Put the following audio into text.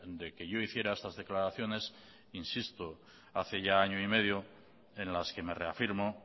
de que yo hiciera estas declaraciones insisto hace ya año y medio en las que me reafirmo